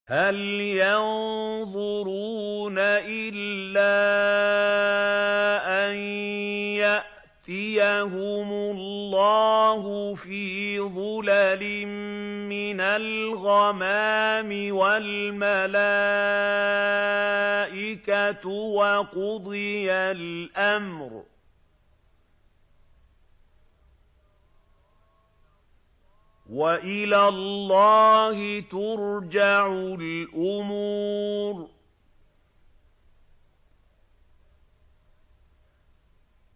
هَلْ يَنظُرُونَ إِلَّا أَن يَأْتِيَهُمُ اللَّهُ فِي ظُلَلٍ مِّنَ الْغَمَامِ وَالْمَلَائِكَةُ وَقُضِيَ الْأَمْرُ ۚ وَإِلَى اللَّهِ تُرْجَعُ الْأُمُورُ